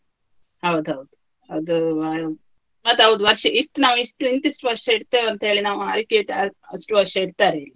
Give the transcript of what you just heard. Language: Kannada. ಹೌದೌದು, ಅದೂ ಅದ್ ಹೌದು ವರ್ಷ ಇಷ್ಟ್ ನಾವು ಇಷ್ಟು ಇಂತಿಷ್ಟು ವರ್ಷ ಇಡ್ತೆವೆ ಅಂತ ಹೇಳಿ ನಾವು ಆಯ್ಕೆ ಇತ್ತು ಆ ಅಷ್ಟು ವರ್ಷ ಇಡ್ತಾರೆವೆ.